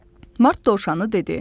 Mart dovşanı dedi.